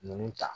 Ninnu ta